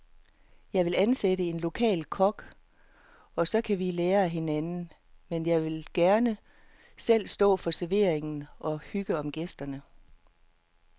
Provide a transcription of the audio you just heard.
Jeg vil ansætte en lokal kok, og så kan vi lære af hinanden, men jeg vil gerne selv stå for servering og hygge om gæsterne.